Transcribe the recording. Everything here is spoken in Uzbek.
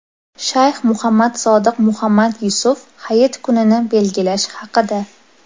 Shayx Muhammad Sodiq Muhammad Yusuf hayit kunini belgilash haqida.